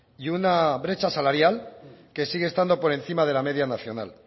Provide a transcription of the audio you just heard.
y una brecha salarial que sigue estando por encima de la media nacional